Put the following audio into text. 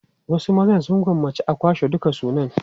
Wasu maza sun gwammaci a kwashe dukan sunan.